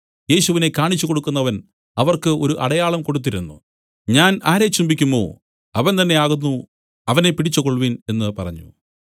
യേശുവിനെ കാണിച്ചുകൊടുക്കുന്നവൻ അവർക്ക് ഒരു അടയാളം കൊടുത്തിരുന്നു ഞാൻ ആരെ ചുംബിക്കുമോ അവൻ തന്നേ ആകുന്നു അവനെ പിടിച്ചുകൊൾവിൻ എന്നു പറഞ്ഞു